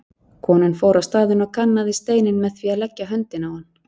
Konan fór á staðinn og kannaði steininn með því að leggja höndina á hann.